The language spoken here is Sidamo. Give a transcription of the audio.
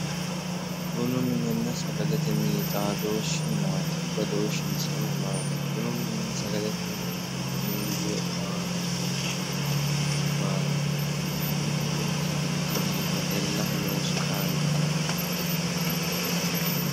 Bunu mininna sagalete mini xaadooshshi maati badooshshinsano maati? Bunu mininna sagalete horo miinju lophora uyitano horo maati? Bunu mininna sagalete mini wedellaho kaa'lano kaa'looshshi maati?